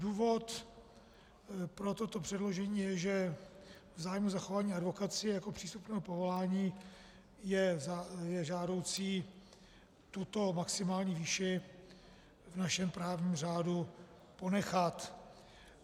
Důvod pro toto předložení je, že v zájmu zachování advokacie jako přístupného povolání je žádoucí tuto maximální výši v našem právním řádu ponechat.